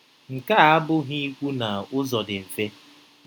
Nke a abụghị ikwu na ụzọ dị mfe.